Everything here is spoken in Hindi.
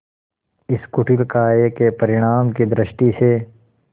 इस कुटिल कार्य के परिणाम की दृष्टि से